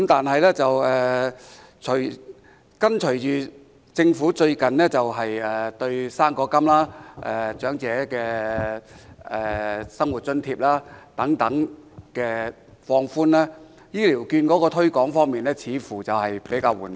不過，隨着政府最近放寬高齡津貼及長者生活津貼等的相關規定，醫療券的推廣工作似乎較為緩慢。